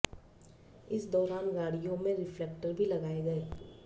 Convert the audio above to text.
इस दौरान गाडियों में रिफ्लेक्टर भी लगाए गए